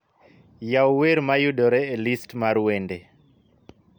yaw wer ma yudore e list mar wende